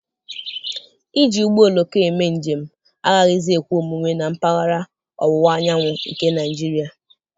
Iji ụgbọ oloko eme njem agaghịzi ekwe omume na mpaghara ọwụwa anyanwụ nke Naịjiria.